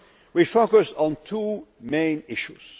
We focused on two main issues.